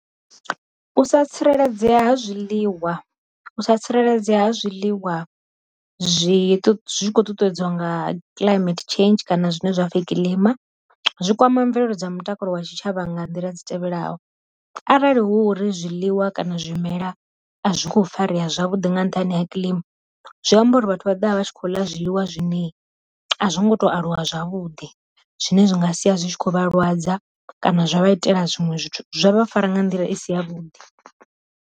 U sa tsireledzea ha zwiliwa u sa tsireledzea ha zwiliwa zwi zwi khou ṱuṱuwedzwa nga climate change kana zwine zwapfhi kiḽima, zwi kwama mvelelo dza mutakalo wa tshi tshavha nga nḓila dzi tevhelaho, arali hu ri zwiḽiwa kana zwimela a zwi kho farea zwavhuḓi nga nṱhani ha kilima zwi amba uri vhathu vha ḓovha vha tshi khou ḽa zwiḽiwa zwine a zwi ngo to aluwa zwavhuḓi zwine zwi nga sia zwi tshi khou vha lwadza kana zwa vha itela zwiṅwe zwithu zwavha fara nga nḓila i si ya vhuḓi.